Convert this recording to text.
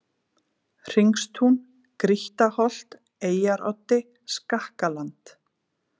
Hringstún, Grýttaholt, Eyjaroddi, Skakkaland